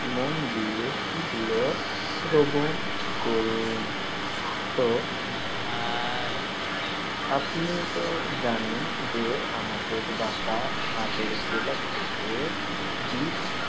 মন দিয়ে সেগুলো শ্রবণ করুণ। জি ভাই. তো আপনি তো জানেন যে আমাদের বাসা নাটোর জেলা থেকে দু ।